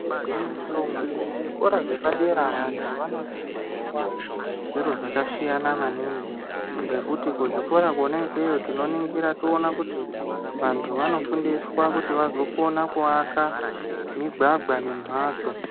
Gwinyiso muzvikora zvepadera, vantu vanodzidziswa zviro zvakasiyana maningi, ngekuti kuzvikora kona ikweyo, tinoningira toona kuti vantu vanofundiswa kuti vazokona kuaka migwagwa nembatso.